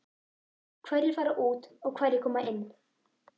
Hverjir fara út og hverjir koma inn?